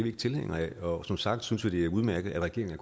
ikke tilhængere af og som sagt synes vi det er udmærket at regeringen